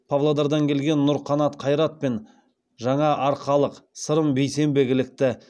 павлодардан келген нұрқанат қайрат пен жаңаарқалық сырым бейсенбек ілікті